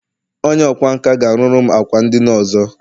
Onye ọkwá nkà ga-arụru m ákwà ndina ọzọ